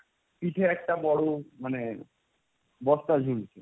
পিঠে একটা বোরো মানে, বস্তা ঝুলছে।